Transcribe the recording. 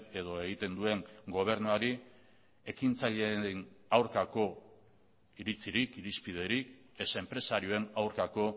edo egiten duen gobernuari ekintzaileen aurkako iritzirik irizpiderik ez enpresarioen aurkako